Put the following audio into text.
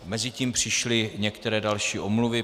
Mezitím přišly některé další omluvy.